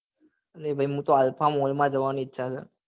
અરે ભાઈ હું તો માં જવા ની ઈચ્છા છે.